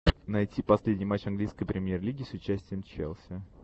найти последний матч английской премьер лиги с участием челси